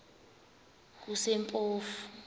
kusempofu